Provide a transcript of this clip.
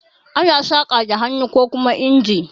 Ana saƙa da hannu kokuma inji.